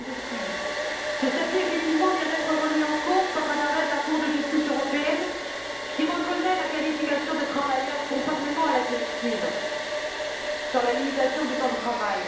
Effectivement, ce statut vient d'être remis en cause par un arrêt de la Cour de justice européenne, qui reconnaît la qualification de travailleurs, conformément à la directive sur la limitation du temps de travail.